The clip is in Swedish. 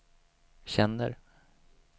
känner